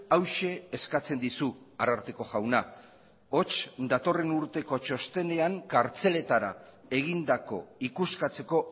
hauxe eskatzen dizu ararteko jauna hots datorren urteko txostenean kartzeletara egindako ikuskatzeko